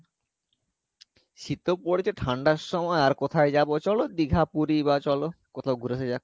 শীতও পড়েছে ঠান্ডার সময় আর কোথায় যাবো চলো দীঘা পুরি বা চলো কোথাও ঘুরে আসা যাক